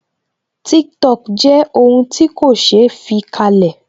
Tiktok jẹ́ ohun ti ko se fi kalẹ̀